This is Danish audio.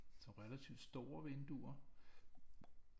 Relativt store vinduer